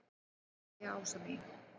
Jæja Ása mín.